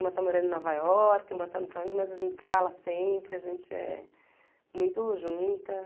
Uma está morando em Nova Iorque, uma está não sei onde, mas a gente se fala sempre, a gente é muito junta.